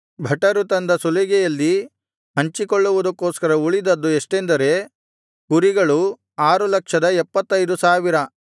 ಭಟರು ತಂದ ಸುಲಿಗೆಯಲ್ಲಿ ಹಂಚಿಕೊಳ್ಳುವುದಕೋಸ್ಕರ ಉಳಿದದ್ದು ಎಷ್ಟೆಂದರೆ ಕುರಿಗಳು 675000